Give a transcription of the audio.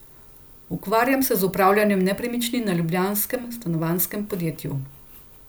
Ukvarjam se z upravljanjem nepremičnin na ljubljanskem stanovanjskem podjetju.